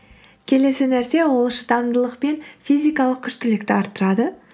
келесі нәрсе ол шыдамдылық пен физикалық күштілікті арттырады